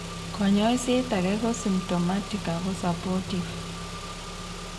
Konyoiset age ko symptomatic ago supportive.